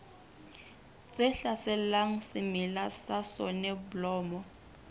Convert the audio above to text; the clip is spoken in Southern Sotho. tse hlaselang semela sa soneblomo